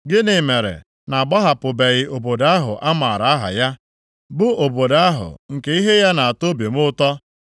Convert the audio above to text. Gịnị mere na-agbahapụbeghị obodo ahụ a maara aha ya, bụ obodo ahụ nke ihe ya na-atọ obi m ụtọ?